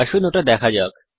আসুন ওটা দেখা যাক